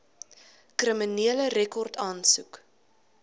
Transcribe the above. kriminele rekord aansoek